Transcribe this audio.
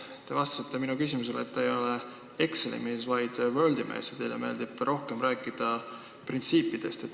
Te ütlesite minu küsimusele vastates, et te ei ole Exceli mees, vaid Wordi mees ja teile meeldib rohkem rääkida printsiipidest.